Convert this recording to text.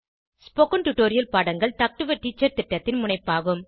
spoken tutorial பாடங்கள் talk to a teacher திட்டத்தின் முனைப்பாகும்